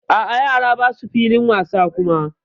A'a yaran basu filin wasa kuma.